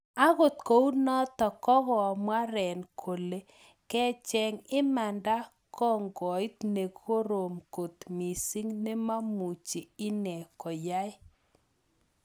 Angot kounotok kokamwa Ren kolee kecheng imandaa kokiit nekorom kot misiing nememuchii inee koyae